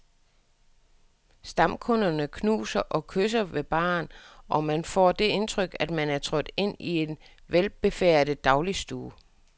Stamkunderne knuser og kysser ved baren, og man kan få det indtryk, at man er trådt ind i en velbefærdet dagligstue.